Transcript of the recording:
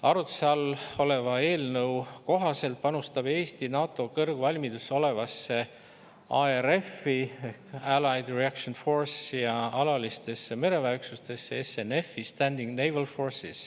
Arutluse all oleva eelnõu kohaselt panustab Eesti NATO kõrgvalmiduses olevasse ARF‑i ja alalistesse mereväeüksustesse SNF .